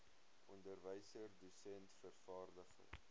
onderwyser dosent vervaardiger